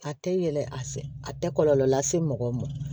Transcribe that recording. A tɛ yɛlɛ a fɛ a tɛ kɔlɔlɔ lase mɔgɔ ma